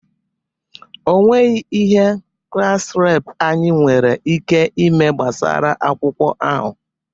Onweghi ihe klass reepụ anyi nwere ike ime gbasara akwụkwọ ahụ.